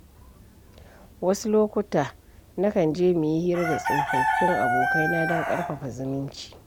Wasu lokuta, na kan je muyi hira da tsofaffin abokaina don ƙarfafa zumunci.